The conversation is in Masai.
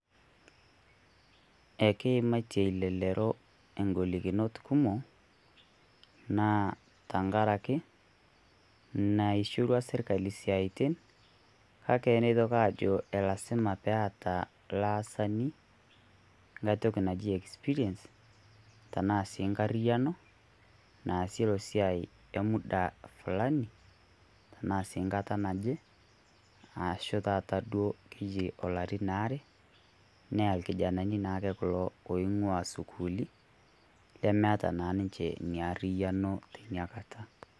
Ekeimatie elelero engolikinot kumok naa tengaraki naishorua sirkali esiaitin kake neitoki aajo lasima peeta ilaasani engae toki naji experience tenaa sii engarriyiano naasioki esiai emuda Fulani tenaa sii enkata naje ashu sii taata neji ilarin aare nee irkijanani naake kulo loing'ua esukuuli lemeeta naa niche Ina karriyiano teina Kata.